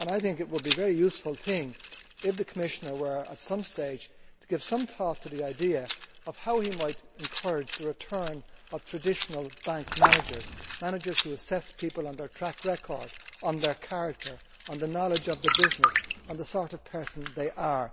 It would be very useful if the Commissioner were at some stage to give some thought to the idea of how he might encourage the return of traditional bank managers, managers who assess people on their track record, on their character, on their knowledge of the business, on the sort of person they are.